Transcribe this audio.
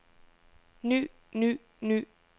ny ny ny